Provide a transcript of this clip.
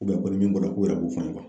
ko nin min bɔra k'o yɛrɛ b'u fɔ an ye